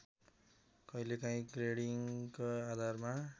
कहिलेकाहिँ ग्रेडिङको आधारमा